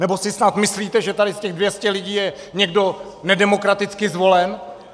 Nebo si snad myslíte, že tady z těch 200 lidí je někdo nedemokraticky zvolen?